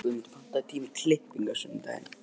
Guðmundur, pantaðu tíma í klippingu á sunnudaginn.